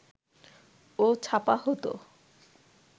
ও ছাপা হতো